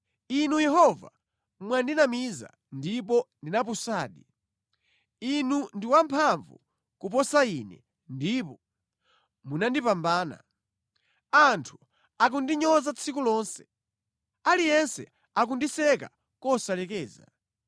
Inu Yehova, mwandinamiza, ndipo ndinapusadi; Inu ndi wamphamvu kuposa ine ndipo munandipambana. Anthu akundinyoza tsiku lonse. Aliyense akundiseka kosalekeza.